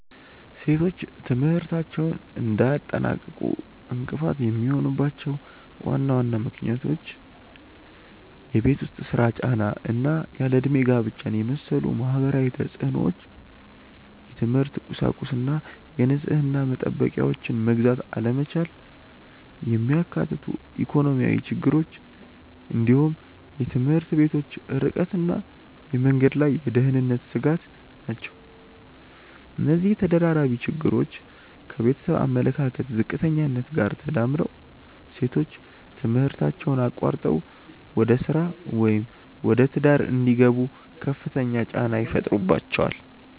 ሴቶች ትምህርታቸውን እንዳያጠናቅቁ እንቅፋት የሚሆኑባቸው ዋና ዋና ምክንያቶች የቤት ውስጥ ሥራ ጫና እና ያለ ዕድሜ ጋብቻን የመሰሉ ማህበራዊ ተፅዕኖዎች፣ የትምህርት ቁሳቁስና የንጽህና መጠበቂያዎችን መግዛት አለመቻልን የሚያካትቱ ኢኮኖሚያዊ ችግሮች፣ እንዲሁም የትምህርት ቤቶች ርቀትና የመንገድ ላይ የደህንነት ስጋት ናቸው። እነዚህ ተደራራቢ ችግሮች ከቤተሰብ አመለካከት ዝቅተኛነት ጋር ተዳምረው ሴቶች ትምህርታቸውን አቋርጠው ወደ ሥራ ወይም ወደ ትዳር እንዲገቡ ከፍተኛ ጫና ይፈጥሩባቸዋል።